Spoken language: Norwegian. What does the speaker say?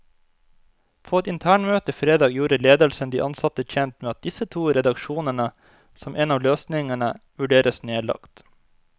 På et internmøte fredag gjorde ledelsen de ansatte kjent med at disse to redaksjonene, som en av løsningene, vurderes nedlagt.